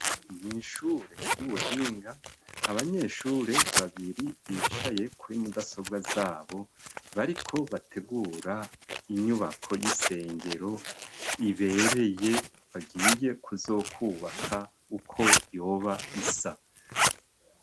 Mw' ishure ry'ubuhinga abanyeshure babiri bicaye kuri mudasobwa zabo, bariko bategura inyubako y'isengero ibereye bagiye kuzokubaka uko yoba isa.